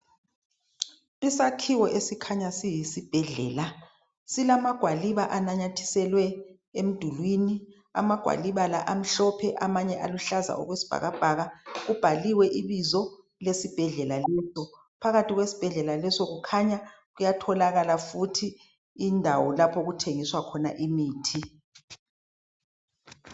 isakhiwo esikhanya siyisibhedlela silama gwaliba ananyathiselwe emdulini amagwaliba la amhlophe amanye aluhlaza okwesibhakabhaka kubhaliwe ibizo lesibhedlela phakathi kwesihedlela leso kukhanya kuyatholakala futhi indawo okuthengiswa khona imithi